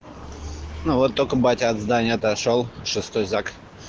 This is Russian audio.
ну вот только батя от здания отошёл шестой зак